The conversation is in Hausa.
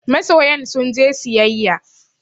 Masoyan sun je siyayya